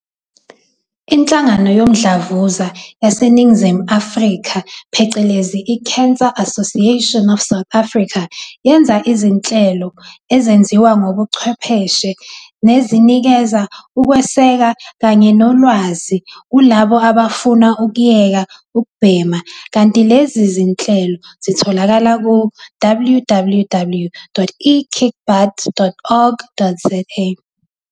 INhlangano Yomdlavuza yaseNingizimu Afrika phecelezi i-Cancer Association of South Africa, yenza izinhlelo ezenziwa ngobuchwepheshe, nezinikeza ukweseka kanye nolwazi kulabo abafuna ukuyeka ukubhema kanti lezi zinhlelo ziyatholakala ku- www.ekickbutt.org.za.